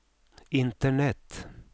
internet